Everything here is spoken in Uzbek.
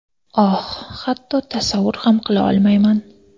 Oh, hatto tasavvur ham qila olmayman.